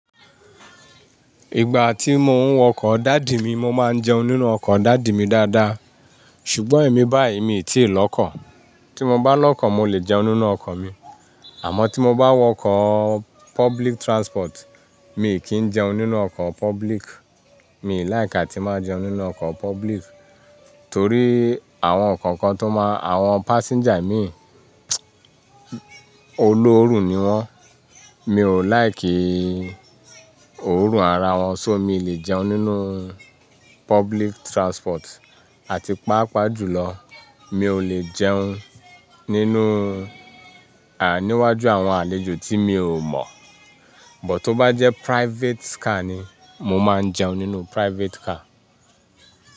Ìgbà tí mo ń wọ ọkọ̀ dàdi mi, mo máa ń jẹun nínú ọkọ̀ dàdi mi dáadáa. Ṣùgbọ́n èmi báyìí mi tíì lọ́kọ̀. Tí mo bá lọ́kọ̀, mo lè jẹun nínú ọkọ̀ mi. Àmọ́ tí mo bá wọ ọkọ̀ public transport, mi kí ń jẹun nínú ọkọ̀ public. Mi like a tí máa jẹun nínú ọkọ̀ public torí àwọn kọ̀ọ̀kan tó máa, àwọn passenger mi olóoru ni wọ́n. Mi ò like òórùn ara wọn. So mi lè jẹun nínú public transport. Àti pàápàá jùlọ, mi ò lè jẹun nínú, à, níwájú àwọn àlejò tí mi ò mọ̀. Bọ̀ tó bá jẹ́ private car ni, mo máa ń jẹun nínú private car.